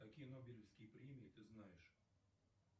какие нобелевские премии ты знаешь